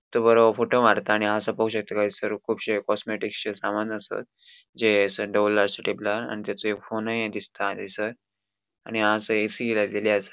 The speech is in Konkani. तो बोरो फोटो मारता आणि हांगासर पोवपाक सकता कि एसर कूबशे कॉस्मेटिक्स चे सामान आसात जे एसर असा टेबलार आणि तेचो एक फोन दिसता एसर आणि हांगासर ऐ. सी. लाएलेले असा.